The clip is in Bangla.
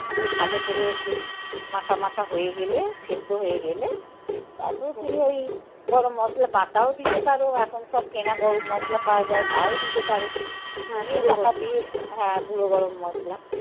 ভালো করে বেশ মাখামাখা হয়ে গেলে সেদ্ধ হয়ে গেলে. তারপরে তুমি ওই গরম মশলা বাটাও দিতে পারো. এখন সব কেনা গরম মশলা পাওয়া যায়. তাও দিতে পারো. হ্যাঁ. দিয়ে চাপা দিয়ে দাও. হ্যাঁ, গুঁড়ো গরম মশলা